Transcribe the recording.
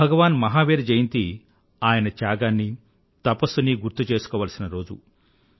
భగవాన్ మహావీర జయంతి ఆయన త్యాగాన్నీ తపస్సునీ గుర్తు చేసుకోవాల్సిన రోజు